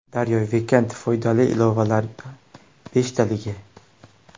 Daryo Weekend: Foydali ilovalar beshtaligi!.